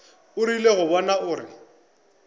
o rile go bona gore